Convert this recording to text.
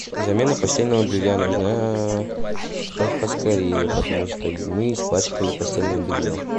замена постельного белья нужна поскорее потому что мы испачкали постельное белье